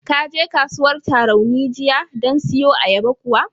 Ka je kasuwar Tarauni jiyan don siyo ayyaba kuwa?